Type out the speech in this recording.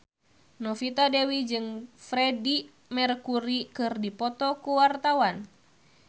Novita Dewi jeung Freedie Mercury keur dipoto ku wartawan